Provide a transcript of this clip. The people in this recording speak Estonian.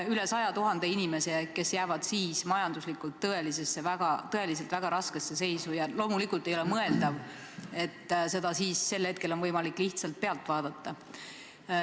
Üle 100 000 inimese jääb majanduslikult tõeliselt väga raskesse seisu ja loomulikult ei ole mõeldav, et seda saab siis lihtsalt pealt vaadata.